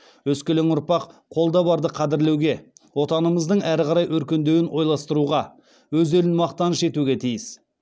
өскелең ұрпақ қолда барды қадірлеуге отанымыздың әрі қарай өркендеуін ойластыруға өз елін мақтаныш етуге тиіс